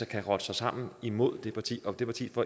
kan rotte sig sammen imod det parti og at det parti